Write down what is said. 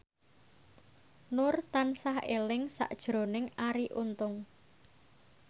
Nur tansah eling sakjroning Arie Untung